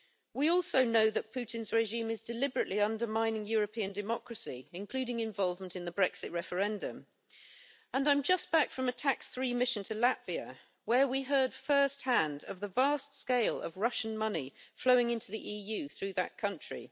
We also know that Putin's regime is deliberately undermining European democracy, including involvement in the Brexit referendum and I'm just back from a TAX3 mission to Latvia where we heard first hand of the vast scale of Russian money flowing into the EU through that country.